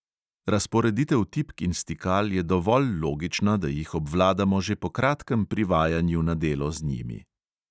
Razporeditev tipk in stikal je dovolj logična, da jih obvladamo že po kratkem privajanju na delo z njimi.